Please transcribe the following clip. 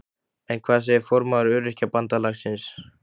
En hvað segir formaður Öryrkjabandalagsins?